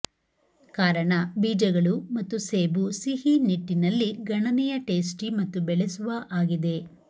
ಕಾರಣ ಬೀಜಗಳು ಮತ್ತು ಸೇಬು ಸಿಹಿ ನಿಟ್ಟಿನಲ್ಲಿ ಗಣನೀಯ ಟೇಸ್ಟಿ ಮತ್ತು ಬೆಳೆಸುವ ಆಗಿದೆ